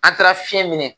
An taara fiɲɛ minɛ